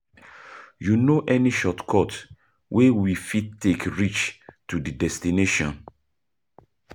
You know any shortcut wey we fit take reach to di destination?